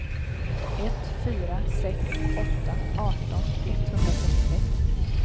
ett fyra sex åtta arton etthundratrettiosex